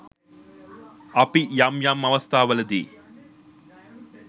අපි යම් යම් අවස්ථාවලදී